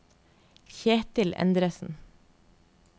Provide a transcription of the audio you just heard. Kjetil Endresen